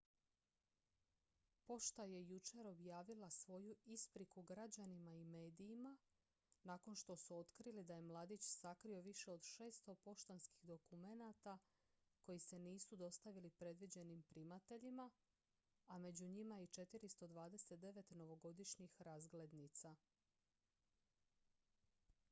pošta je jučer objavila svoju ispriku građanima i medijima nakon što su otkrili da je mladić sakrio više od 600 poštanskih dokumenata koji se nisu dostavili predviđenim primateljima a među njima je i 429 novogodišnjih razglednica